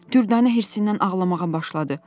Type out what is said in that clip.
Dürdanə hirsindən ağlamağa başladı.